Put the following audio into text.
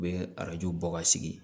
U bɛ arajo bɔ ka sigi